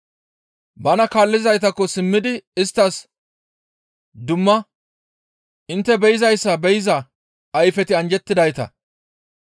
Bana kaallizaytakko simmidi isttas dumma, «Intte be7izayssa be7iza ayfeti anjjettidayta.